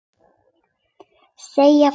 Segja frá.